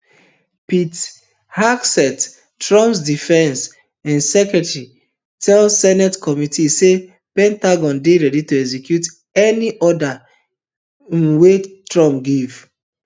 pete hegseth trump defence um secretary tell senate committee say pentagon dey ready to execute any order um wey trump give